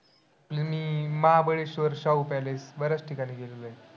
मी Mahabaleshwar, Shahu palace बऱ्याच ठिकाणी गेलेलो आहे.